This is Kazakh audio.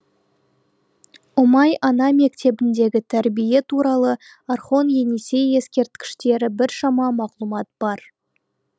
ұмай ана мектебіндегі тәрбие туралы орхон енисей ескерткіштері біршама мағлұмат бар